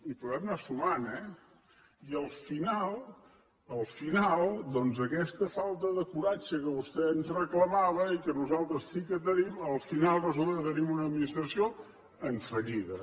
i podem anar sumant eh i al final al final doncs aquesta falta de coratge que vostè ens reclamava i que nosaltres sí que tenim al final resulta que tenim una administració en fallida